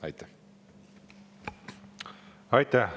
Aitäh!